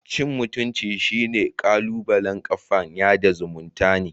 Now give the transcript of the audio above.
Cin mutumcin shine kalubalen kafan yada zumuntane.